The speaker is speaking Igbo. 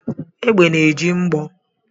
Egbe na-eji mgbọ